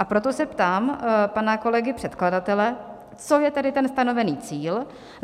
A proto se ptám pana kolegy předkladatele, co je tedy ten stanovený cíl.